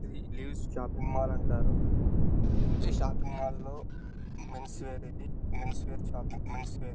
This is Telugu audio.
ఇవి లివిస్ షాపింగ్ మాల్ అంటారు. ఈ షాపింగ్ మాల్ లో men's wear shopping men's wear --